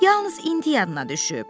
Yalnız indi yadına düşüb.